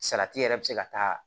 Salati yɛrɛ bɛ se ka taa